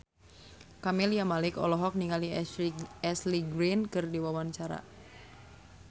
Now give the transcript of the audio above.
Camelia Malik olohok ningali Ashley Greene keur diwawancara